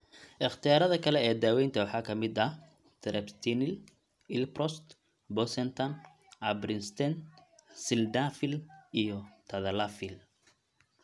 Ikhtiyaarada kale ee daaweynta waxaa ka mid ah treprostinil, iloprost, bosentan, ambrisentan, sildenafil, iyo tadalafil.